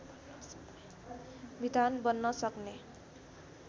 विधान बन्न सक्ने